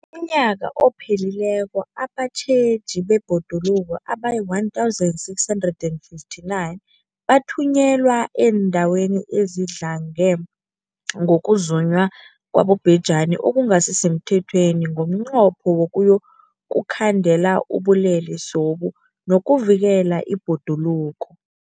UmNnyaka ophelileko abatjheji bebhoduluko abayi-1 659 bathunyelwa eendaweni ezidlange ngokuzunywa kwabobhejani okungasi semthethweni ngomnqopho wokuyokukhandela ubulelesobu nokuvikela ibhoduluko.